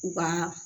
U ka